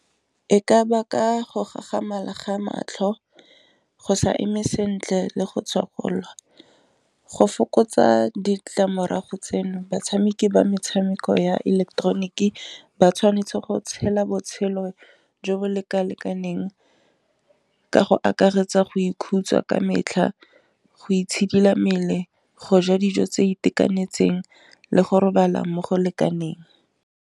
E ka baka go gagamalang ga matlho go sa eme sentle le go tshwarelelwa go fokotsa ditlamorago tseno batshameki ba metshameko ya ileketeroniki ba tshwanetse go tshela botshelo jo bo leka lekaneng ka go akaretsa go ikhutsa ka metlha, go itshidila mmele, go ja dijo tse itekanetseng, le go robalang mo go lekaneng.